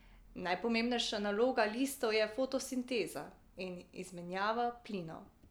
Najpomembnejša naloga listov je fotosinteza in izmenjava plinov.